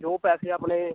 ਜੋ ਪੈਸੇ ਆਪਣੇ